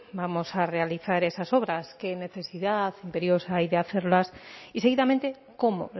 vamos a realizar esas obras qué necesidad imperiosa hay de hacerlas y seguidamente cómo